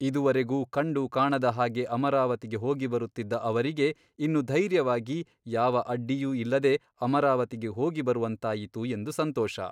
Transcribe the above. ಇದುವರೆಗೂ ಕಂಡು ಕಾಣದ ಹಾಗೆ ಅಮರಾವತಿಗೆ ಹೋಗಿಬರುತ್ತಿದ್ದ ಅವರಿಗೆ ಇನ್ನು ಧೈರ್ಯವಾಗಿ ಯಾವ ಅಡ್ಡಿಯೂ ಇಲ್ಲದೆ ಅಮರಾವತಿಗೆ ಹೋಗಿ ಬರುವಂತಾಯಿತು ಎಂದು ಸಂತೋಷ.